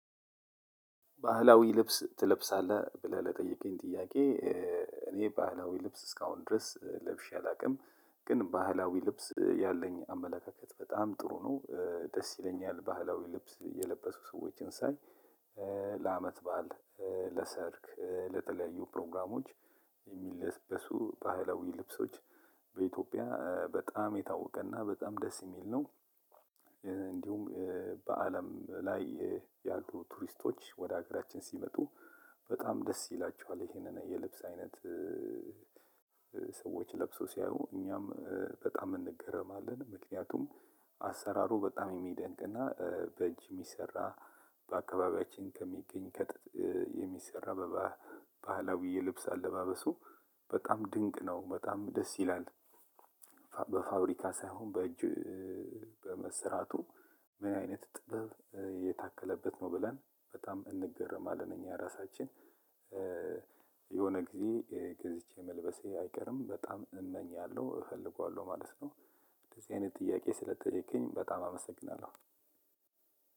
ባህላዊ ልብስ ትለብሳለህ ብለህ ለጠየቀኝ ጥያቄ እኔ ባህላዊ ልብስ እስካሁን ድረስ ለብሼ አላውቅም። ግን ባህላዊ ልብስ ያለኝ አመለካከት በጣም ጥሩ ነው። ደስ ይለኛል ባህላዊ ልብስ የለበሱ ሰዎችን ሳይ። ለአመት በዓል ለሰርግ ለተለያዩ ፕሮግራሞች የሚለበሱ ባህላዊ ልብሶች። በኢትዮጵያ በጣም የታወቀና በጣም ደስ የሚል ነው። እንዲሁም በአለም ላይ ያሉ ቱሪስቶች ወደ ሀገራችን ሲመጡ በጣም ደስ ይላችኋል ይሄንን የልብስ አይነት። ሰዎች ለብሶ ሲያዩ እኛም በጣም እንገረማለን። ምክንያቱም አሰራሩ በጣም የሚደንቅና በእጅ የሚሰራ በአካባቢያችን ከሚገኝ ከጥጥ የሚሰራ። በባህላዊ የልብስ አለባበሱ በጣም ድንቅ ነው በጣም ደስ ይላል። በፋብሪካ ሳይሆን በእጅ በመሰራቱ። ምን አይነት ጥበብ የታከለበት ነው? ብለን በጣም እንገርማለን እኛ እራሳችን። የሆነ ጊዜ ገዝቼ መልበሴ አይቀርም በጣም እመኛለሁ እፈልገዋለሁ ማለት ነው። እንደዚህ አይነት ጥያቄ ስለጠየቀኝ በጣም አመሰግናለሁ።